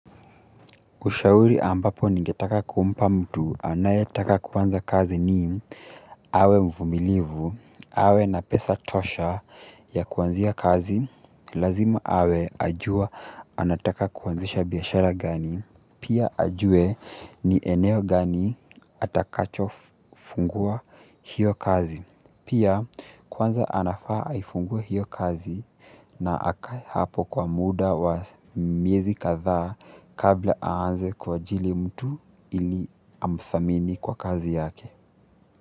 Ushauri ambapo ningetaka kumpa mtu anayetaka kuanza kazi ni awe mvumilivu, awe na pesa tosha ya kuanzia kazi lazima awe anajua anataka kuanzisha biashara gani pia ajue ni eneo gani atakachofungua hiyo kazi. Pia, kwanza anafaa aifingue hiyo kazi na akae hapo kwa muda wa miezi kadhaa. Kabla aanze kuajiri mtu ili amthamini kwa kazi yake.